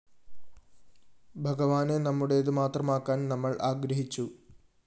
ഭഗവാനെ നമ്മുടേതു മാത്രമാക്കാന്‍ നമ്മള്‍ ആഗ്രഹിച്ചു